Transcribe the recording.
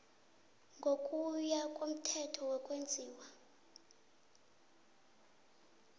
ngokuya komthetho wokwenziwa